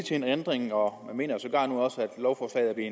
til en ændring og man mener sågar nu også at lovforslaget